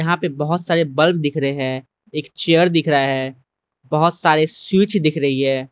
यहाँ पे बहोत सारे बल्ब दिख रहे हैं एक चेयर दिख रहा है बहोंत सारे सीट्स दिख रही हैं।